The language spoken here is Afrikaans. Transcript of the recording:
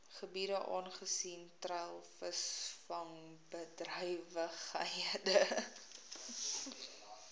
gebiede aangesien treilvisvangbedrywighede